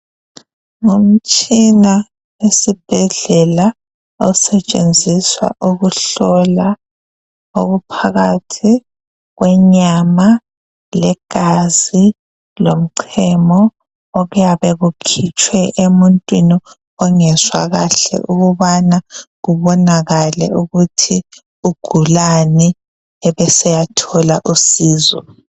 Ngumtshina owesibhedlela osetshenziswa ukuhlola okuphakathi kwenyama, legazi, lomchemo okuyabe kukhitshwe emuntwini ongezwa kahle ukubana kubonakale ukuthi ugulani ebeseyathola usizo.